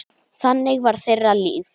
Þannig var þeirra líf.